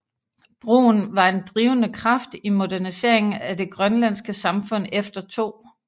Brun var en drivende kraft i moderniseringen af det grønlandske samfund efter 2